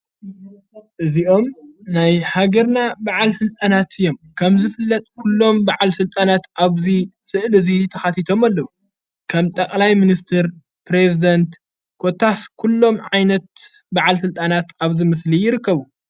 እዚኦም ናይ ሃገርና በዓል ሥልጣናት እዮም ከም ዝፍለጥ ኲሎም በዕል ሥልጣናት ኣብዚይ ሥእል እዙይ ሊተሓቲቶም ኣለዉ ከም ጠቕላይ ምንስትር ጴሬዝደንት ኮታስ ኲሎም ዓይነት በዕል ሥልጣናት ኣብዚ ምስሊ ይርከቡ።